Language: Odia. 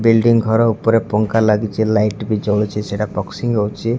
ବିଲଡ଼ିଂ ଘର ଉପରେ ଫଂଖା ଲାଗିଛ ଲାଇଟ ବି ଜଳୁଛି ସେଇଟା ହଉଛି।